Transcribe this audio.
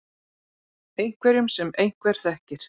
Einhverjum sem einhver þekkir.